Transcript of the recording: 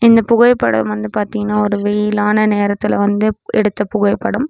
இந்தப் புகைப்படம் வந்து பாத்தீங்கன்னா ஒரு வெயிலான நேரத்துல வந்து எடுத்த புகைப்படம்.